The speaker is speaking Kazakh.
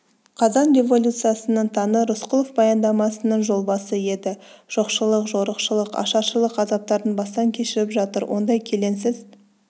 қазан революциясының таңы рысқұлов баяндамасының жолбасы еді жоқшылық жорықшылық ашаршылық азаптарын бастан кешіріп жатыр ондай келеңсіз